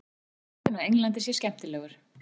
Hann segir að boltinn á Englandi sé skemmtilegur.